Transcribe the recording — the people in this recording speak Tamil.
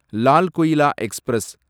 லால் குயிலா எக்ஸ்பிரஸ்